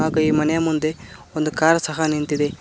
ಹಾಗು ಈ ಮನೆಯ ಮುಂದೆ ಒಂದು ಕಾರ್ ಸಹ ನಿಂತಿದೆ.